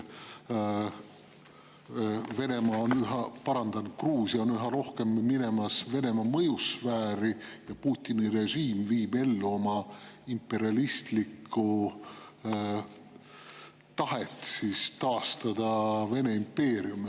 Gruusia on minemas üha rohkem Venemaa mõjusfääri ja Putini režiim viib ellu oma imperialistlikku tahet taastada Vene impeerium.